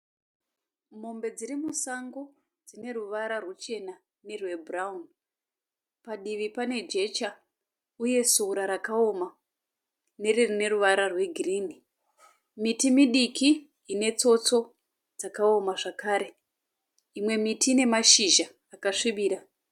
Mombe dziri musango. Dzine ruvara rwuchena nerwebhurawuni. Padivi pane jecha uye sora rakaoma nerine ruvara rwegirinhi. Miti midiki ine tsotso dzakaoma zvakare imwe miti ine mashizha akasvibira.